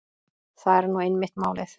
Það er nú einmitt málið.